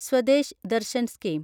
Swadesh Darshan scheme